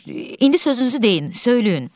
İndi sözünüzü deyin, söyləyin.